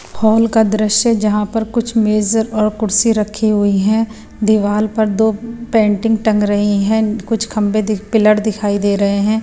Hall का दृश्य जहां पर कुछ मेजर और कुर्सी रखी हुई हैं दीवार पर दो पेंटिंग टंग रही हैं कुछ खंबे पिलर दिखाई दे रहे हैं।